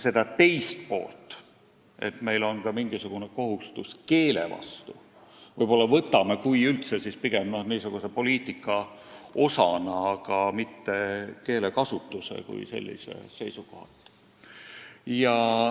Seda teist poolt, et meil on ka mingisugune kohustus keele vastu, me võib-olla võtame – kui üldse – pigem poliitika osana, aga keelekasutusele kui sellisele ei mõtle.